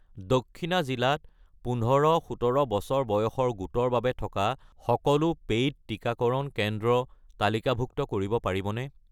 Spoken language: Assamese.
দক্ষিণা জিলাত ১৫-১৭ বছৰ বয়সৰ গোটৰ বাবে থকা সকলো পেইড টিকাকৰণ কেন্দ্ৰ তালিকাভুক্ত কৰিব পাৰিবনে?